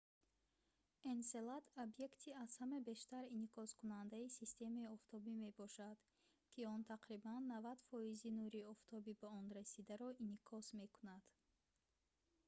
энселад объекти аз ҳама бештар инъикоскунандаи системаи офтобӣ мебошад ки он тақрибан 90 фоизи нури офтоби ба он расидаро инъикос мекунад